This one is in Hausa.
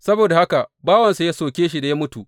Saboda haka bawansa ya soke shi, ya mutu.